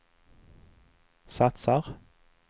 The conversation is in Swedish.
satsar